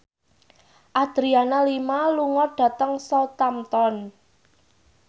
Adriana Lima lunga dhateng Southampton